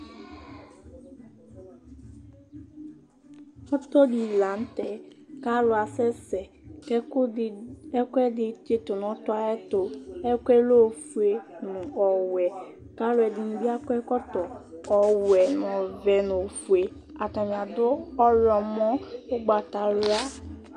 ɔtɔ dɩ li lanʊtɛ kʊ alʊ asɛ sɛ, kʊ ɛkʊɛdɩ tsitʊ nʊ ɔtɔ yɛ ayʊ ɛtʊ, ɛkʊ yɛ ofue nʊ ɔwɛ, kʊ alʊǝdɩnɩ bɩ akɔ ɛkɔtɔ, ɔwɛ, ɔvɛ nʊ ofue, atanɩ adʊ ɔwlɔmɔ nʊ ugbatawla